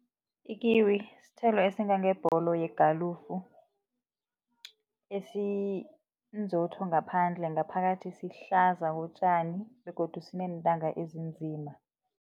I-kiwi sithelo esingangebholo yegalufu esinzotho ngaphandle ngaphakathi sihlaza kotjani begodu sineentanga ezinzima.